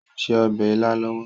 Ó ń se obè ila lọwọ.